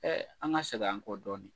an ka segin an kɔ dɔɔnin.